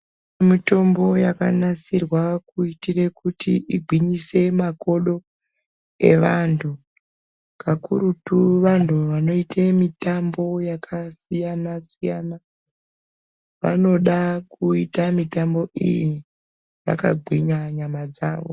Kune mitombo yakanasirwa kuitire kuti igwinyise makodo evantu kakurutu vantu vanoite mitambo yakasiyana siyana vanoda kuita mitambo iyi vakagwinya nyama dzavo.